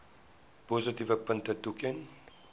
positiewe punte toeken